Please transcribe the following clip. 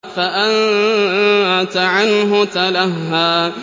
فَأَنتَ عَنْهُ تَلَهَّىٰ